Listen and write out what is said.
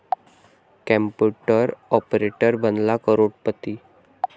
computer operator बनला करोडपती